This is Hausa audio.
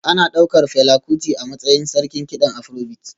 Ana ɗaukar Fela Kuti a matsayin sarkin kiɗan Afrobeat